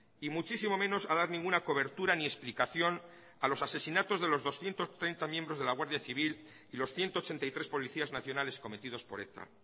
y muchísimo menos a dar ninguna cobertura ni explicación a los asesinatos de los doscientos treinta miembros de la guardia civil y los ciento ochenta y tres policías nacionales cometidos por eta